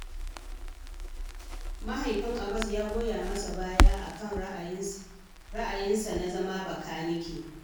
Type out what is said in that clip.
Mahaifin Abbas ya goya masa baya a kan ra'ayinsa na zama Bakanikie